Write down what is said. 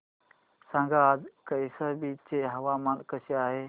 सांगा आज कौशंबी चे हवामान कसे आहे